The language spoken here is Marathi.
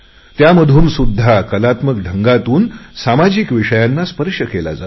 त्या मधूनसुध्दा कलात्मक ढंगातून सामाजिक विषयांना स्पर्श केला जातो